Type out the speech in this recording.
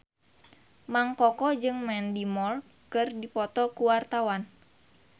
Mang Koko jeung Mandy Moore keur dipoto ku wartawan